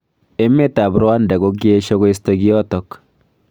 Emet ab Rwanda kokiesho koisto kiotok.